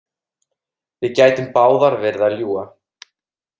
Við gætum báðar verið að ljúga.